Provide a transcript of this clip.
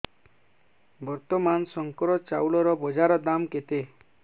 ବର୍ତ୍ତମାନ ଶଙ୍କର ଚାଉଳର ବଜାର ଦାମ୍ କେତେ